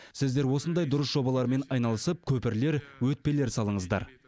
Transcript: сіздер осындай дұрыс жобалармен айналысып көпірлер өтпелер салыңыздар